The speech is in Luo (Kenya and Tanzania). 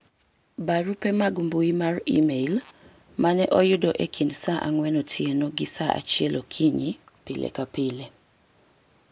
barupe mag mbui mar email mane oyudo e kind saa ang'wen otieno gi saa achiel okinyi pile ka pile